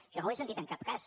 això no ho he sentit en cap cas